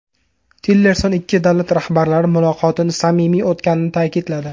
Tillerson ikki davlat rahbarlari muloqotini samimiy o‘tganini ta’kidladi.